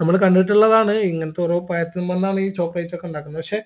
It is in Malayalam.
നമ്മൾ കണ്ടിട്ടുള്ളതാണ് ഇങ്ങത്തെ ഓരോ പഴത്തുമ്മന്നാണ് ഈ chocolate ഒക്കെ ഉണ്ടാക്കുന്നെ ക്ഷേ